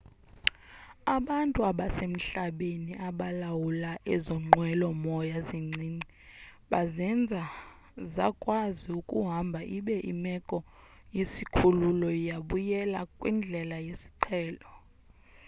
abantu abasemhlabeni abalawula ezo nqwelo-moya zincinci bazenza zakwazi ukuhamba ibe imeko yesikhululo yabuyela kwindlela yesiqhelo